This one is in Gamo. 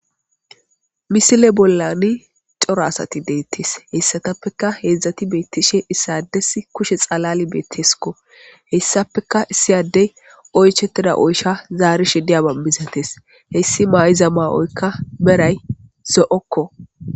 Misile bollani coro asati deettees hessatappeka heedzdzati beettishe issades kushe xalali beetteskko hessappeka issiyadey oychetida oysha zaari shidiya banbisates hessi maayiza maa7oykka beray zo7okko